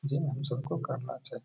Gym हम सब को करना चाहिए।